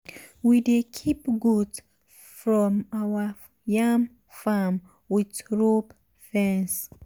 we dey keep goat from our yam farm with rope fence.